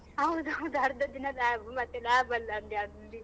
ಹೌದೌದು ಅರ್ಧ ದಿನ lab ಮತ್ತೆ lab ಅಲ್ಲಿ ಅಲ್ಲಿ.